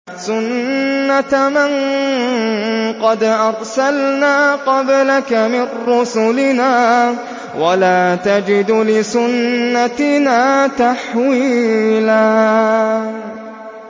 سُنَّةَ مَن قَدْ أَرْسَلْنَا قَبْلَكَ مِن رُّسُلِنَا ۖ وَلَا تَجِدُ لِسُنَّتِنَا تَحْوِيلًا